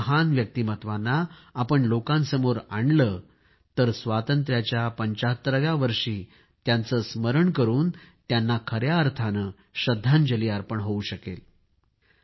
अशा महान व्यक्तिमत्वांना आपण लोकांसमोर आणले तर स्वातंत्र्याच्या 75 व्या वर्षी त्यांचे स्मरण करून त्यांना खया अर्थाने श्रद्धांजली अर्पण होवू शकेल